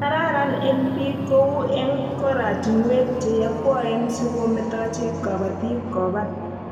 Karan eng' piik kou eng' koratinwek che yakwaen si kometochi kabatik ko pat